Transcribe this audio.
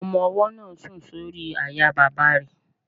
Ọmọ-ọwọ́ náà sùn sórí àyà bàbá rẹ̀